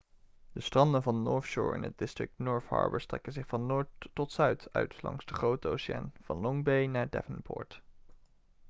de stranden van north shore in het district north harbour strekken zich van noord tot zuid uit langs de grote oceaan van long bay naar devonport